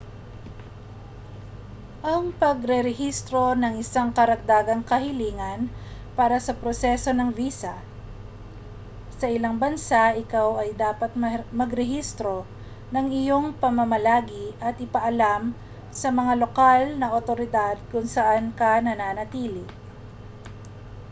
ang pagrerehistro ay isang karagdagang kahilingan para sa proseso ng visa sa ilang bansa ikaw ay dapat magrehistro ng iyong pamamalagi at ipaalam sa mga lokal na awtoridad kung saan ka nananatili